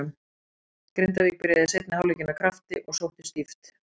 Grindavík byrjaði seinni hálfleikinn af krafti og sóttu stíft.